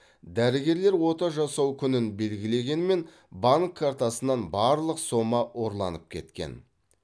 дәрігерлер ота жасау күнін белгілегенмен банк картасынан барлық сома ұрланып кеткен